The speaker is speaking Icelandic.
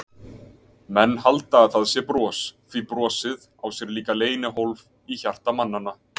Menn halda að það sé bros, því brosið á sér líka leynihólf í hjarta mannanna.